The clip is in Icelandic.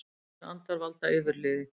Reiðir andar valda yfirliði